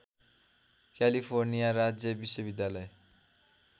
California राज्य विश्वविद्यालय